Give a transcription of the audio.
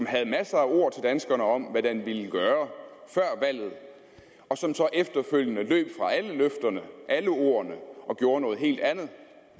havde masser af ord til danskerne om hvad den ville gøre og som så efterfølgende løb fra alle løfterne alle ordene og gjorde noget helt andet